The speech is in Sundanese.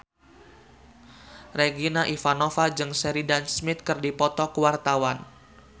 Regina Ivanova jeung Sheridan Smith keur dipoto ku wartawan